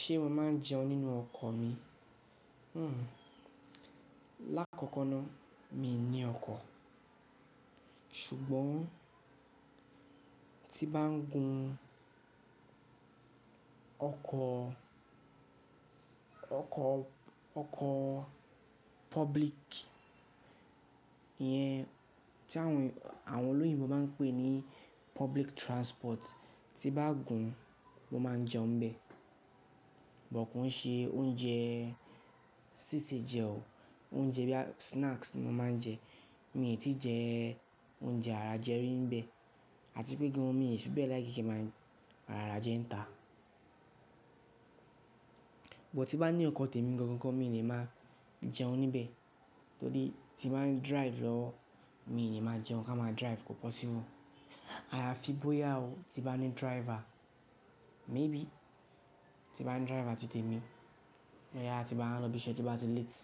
Ṣé mo máa ń jẹun nínú ọkọ̀ mi? Lákọ̀ọ̀kan náà mi ò ní ọkọ̀, ṣùgbọ́n tí bá ń gun ọkọ̀, ọkọ̀, ọkọ̀ public iyẹn tí àwọn olóyìnbo máa ń pè ní public transport, tí bá gùn mo máa jẹun bẹ. But ki ṣe oúnjẹ sísè jẹ o, oúnjẹ bíi snacks ni mo máa ń jẹ. Mi ò tí jẹ oúnjẹ àràjẹrí níbẹ̀, àti pé gan mi ò sí bẹ́ẹ̀ like kí máa ń ràràjẹ́ ń ta. Bọ̀ tí bá ní ọkọ̀ tètè mi gan-an gan-an, mi lè máa jẹun níbẹ̀, tó dé tí bá ń drive lọ, mi ò lè máa jẹun ká máa drive kò possible Àyàfi bóyá o tí bá ní driver, maybe tí bá ní driver tí tètè mi, méyàá tí bá ń lọ ibiṣẹ́ tí bá ti late,